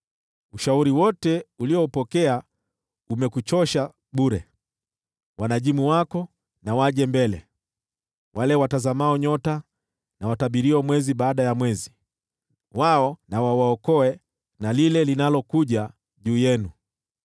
Ushauri wote uliopokea umekuchosha bure! Wanajimu wako na waje mbele, wale watazama nyota watabiriao mwezi baada ya mwezi, wao na wawaokoe na lile linalokuja juu yenu.